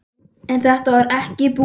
En þetta var ekki búið.